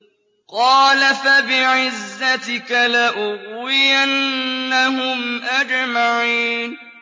قَالَ فَبِعِزَّتِكَ لَأُغْوِيَنَّهُمْ أَجْمَعِينَ